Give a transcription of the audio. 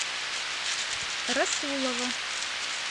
расулова